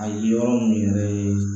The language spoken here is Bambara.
A ye yɔrɔ min yɛrɛ ye